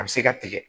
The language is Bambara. A bɛ se ka tigɛ